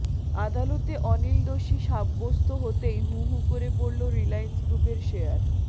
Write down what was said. আদালতে অনিল দোষী সাব্যস্ত হতেই হু হু করে পড়ল রিলায়্যান্স গ্রুপের শেয়ার